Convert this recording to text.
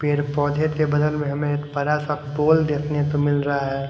पेड़ पौधे के बदल में हमें बड़ा सा पोल देखने को मिल रहा है।